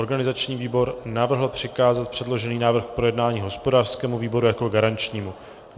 Organizační výbor navrhl přikázat předložený návrh k projednání hospodářskému výboru jako garančnímu.